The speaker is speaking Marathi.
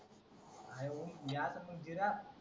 हाय हो ह्याच मंदिरात